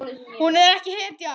Hún er ekki hetja.